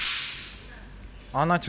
Anata jeneng ilmiahé ya iku Colossoma macropomum